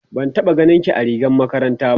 ban taɓa ganinki a rigar makaranta. ba